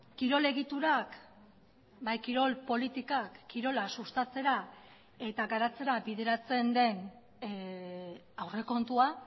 kirol egiturak bai kirol politikak kirola sustatzera eta garatzera bideratzen den aurrekontua